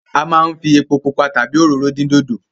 A máa ń fi epo pupa tàbí òróró dín dòdò.